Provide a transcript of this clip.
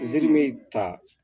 Ziiri be ta